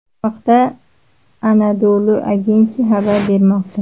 Bu haqda Anadolu Agency xabar bermoqda .